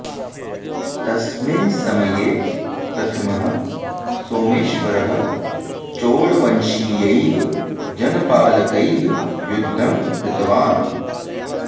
तस्मिन् समये प्रथमः सोमेश्वरः चोळवंशीयैः जनपालकैः युद्धं कृतवान्